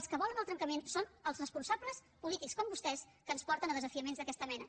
els que volen el trencament són els responsables polítics com vostès que ens porten a desafiaments d’aquesta mena